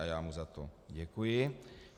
A já mu za to děkuji.